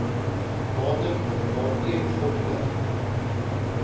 datum waarteen voldoening